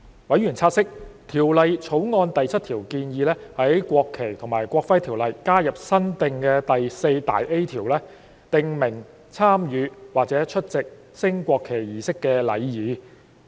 委員察悉，《條例草案》第7條建議在《國旗及國徽條例》加入新訂第 4A 條，訂明參與或出席升國旗儀式的禮儀。